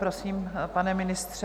Prosím, pane ministře.